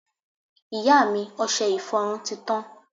ìyá mi, ọsẹ ìfọrún ti tan